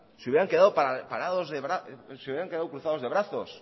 se hubieran quedado cruzados de brazos